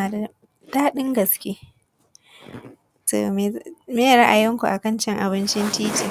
yana da kyau sosai mun amfana. Mene ne ra’ayinku a abincin titi?